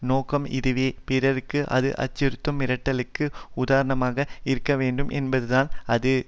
நோக்கம் இதுவே பிறருக்கு அது அச்சுறுத்தும் மிரட்டலுக்கு உதாரணமாக இருக்கவேண்டும் என்பதுதான் அது